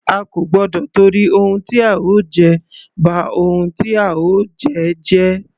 A kò gbọdọ tìtorí ohun tí a ó jẹ, ba ohun tí a ó jẹ́ jẹ́.